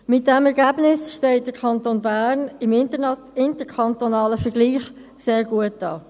Mit diesem Ergebnis steht der Kanton Bern im interkantonalen Vergleich sehr gut da.